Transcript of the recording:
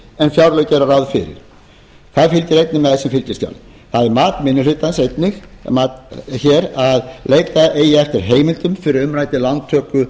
en fjárlög gera ráð fyrir það fylgir einnig með sem fylgiskjal það er mat minni hlutans einnig að leita eigi nú þegar eftir heimildum fyrir umræddri lántöku